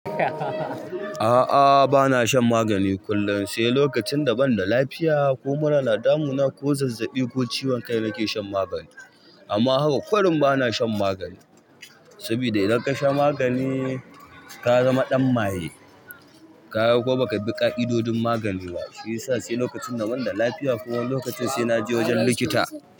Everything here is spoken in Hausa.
A'a bana shan magani kullun sai lokacin da banda lafiya ko mura na damuna ko zazzaɓi ko ciwon kai nake shan magani amma haka ƙurin bana shan magani. Sabida idan ka sha magani, ka zama ɗan maye, ka yarda ko baka bi ka'idodin magani ba, shi yasa sai lokacin da banda lafiya ko wani lokacin sai na je wajen likita.